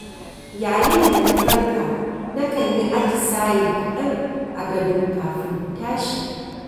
Yayin da na farka na kan yi atisaye kaɗan a gado kafin in tashi.